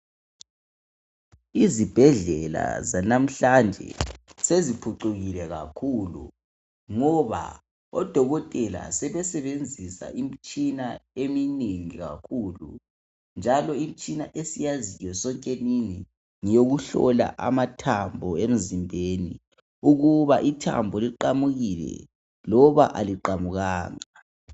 Izibhedlela zanamhlanje seziphucukile kakhulu ngoba odokotela sebesebenzisa imitshina eminengi kakhulu njalo imitshina esiyaziyo sonkenini ngeyo kuhlola amathambo emzimbeni ukuba ithambo liqamukile loba aliqamukanga